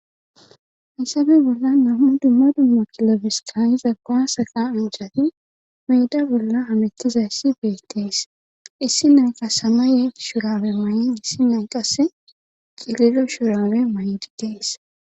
Haysabe bolla nammu dumma dumma kilobes kayiza gaasaqa anjati meyda bolla hamettizayssi beetees issi nay qa samaye shurawe maay'e issi nay qasse qililo shurawe maydi dees